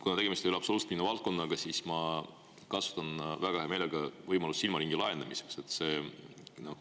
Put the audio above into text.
Kuna tegemist ei ole absoluutselt minu valdkonnaga, siis ma kasutan väga hea meelega seda võimalust silmaringi laiendamiseks.